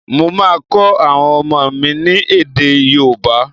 Mo máa kọ́ àwọn ọmọ mi ni èdè yóòbá